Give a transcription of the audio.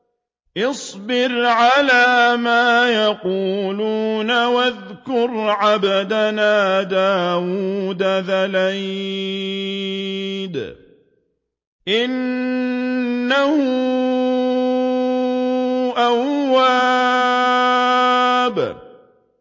اصْبِرْ عَلَىٰ مَا يَقُولُونَ وَاذْكُرْ عَبْدَنَا دَاوُودَ ذَا الْأَيْدِ ۖ إِنَّهُ أَوَّابٌ